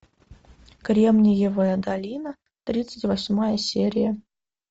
кремниевая долина тридцать восьмая серия